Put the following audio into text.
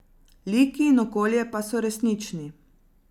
Liki in okolje pa so resnični.